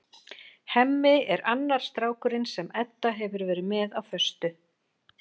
Hemmi er annar strákurinn sem Edda hefur verið með á föstu.